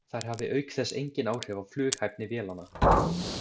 Þær hafi auk þess engin áhrif á flughæfni vélanna.